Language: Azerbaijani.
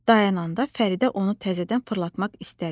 Dayananda Fəridə onu təzədən fırlatmaq istədi.